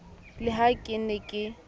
le ha ke ne ke